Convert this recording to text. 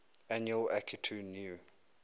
annual akitu new